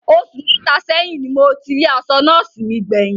Osù mẹta sẹ́yìn ní mo ti rí aṣọ nọ́ọ̀sí mi gbé yín